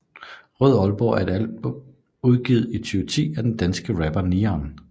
Rød Aalborg er et album udgivet i 2010 af den danske rapper Niarn